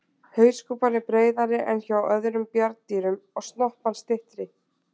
Hauskúpan er breiðari en hjá öðrum bjarndýrum og snoppan styttri.